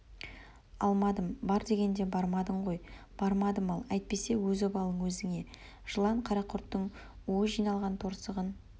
алмадым бар дегенде бармадың ғой бармадым ал әйтпесе өз обалың өзіңе жылан қарақұрттың уы жиналған торсығын